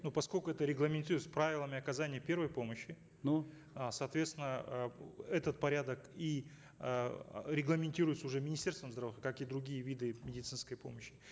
ну поскольку это регламентируется правилами оказания первой помощи ну а соответственно э этот порядок и э регламентируется уже министерством как и другие виды медицинской помощи